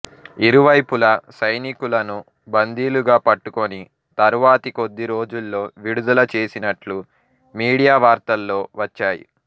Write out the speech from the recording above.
ఇరువైపులా సైనికులను బందీలుగా పట్టుకొని తరువాతి కొద్ది రోజుల్లో విడుదల చేసినట్లు మీడియా వార్తల్లో వచ్చాయి